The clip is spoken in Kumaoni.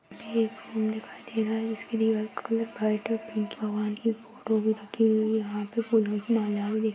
ये एक रूम दिखाई दे रहा है जिसकी दीवाल का कलर व्हाइट और पिंक है भगवान की फोटो भी रखी हुई है यहाँ पे फूलों की माला भी दिख --